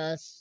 अह